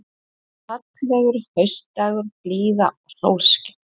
Það var fallegur haustdagur, blíða og sólskin.